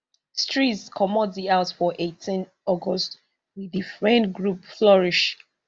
streeze comot di house for eighteen august wit di friend group flourish